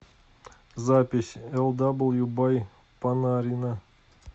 запись элдаблю бай панарина